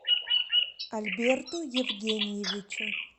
альберту евгеньевичу